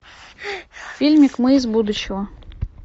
фильмик мы из будущего